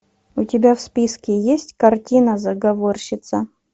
у тебя в списке есть картина заговорщица